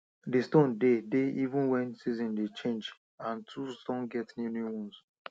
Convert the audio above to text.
di stone de dey even wen season dey change and tools don get new new one